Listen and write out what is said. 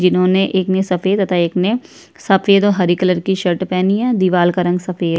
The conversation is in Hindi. जिन्होंने एक में सफेद एक तथा एक ने सफेद और हरे कलर की शर्ट पहनी है दीवाल का रंग सफेद--